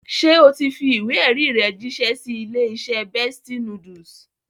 Ṣé o ti fi ìwé-ẹ̀rí rẹ jíṣẹ́ sí ilé-iṣẹ́ Bestie Noodles?